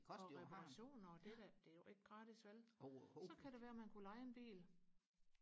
og med pension og det da det er jo ikke gratis vel så kunne det være man kunne leje en bil